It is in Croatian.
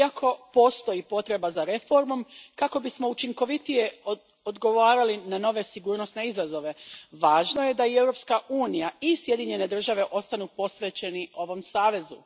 Iako postoji potreba za reformom kako bismo učinkovitije odgovarali na nove sigurnosne izazove, važno je da i Europska unija i Sjedinjene Države ostanu posvećeni ovom savezu.